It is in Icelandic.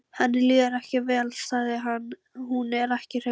Henni líður ekki vel, sagði hann: Hún er ekki hraust.